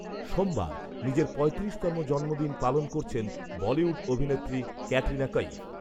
সোমবার, নিজের পঁয়ত্রিশতম জন্মদিন পালন করছেন বলিউড অভিনেত্রী ক্যাটরিনা কঈফ